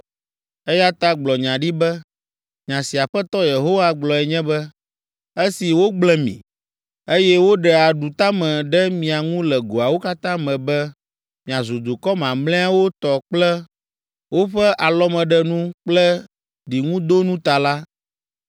Eya ta gblɔ nya ɖi be, ‘Nya si Aƒetɔ Yehowa gblɔe nye be, esi wogblẽ mi, eye woɖe aɖutame ɖe mia ŋu le goawo katã me be miazu dukɔ mamlɛawo tɔ kple woƒe alɔmeɖenu kple ɖiŋudonu ta la,